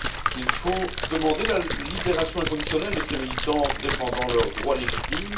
Il faut demander la libération inconditionnelle de ces militants qui défende leurs droits légitimes.